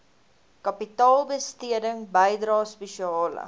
kapitaalbesteding bydrae spesiale